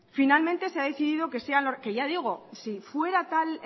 finalmente se ha decidido que sean que ya digo si fuera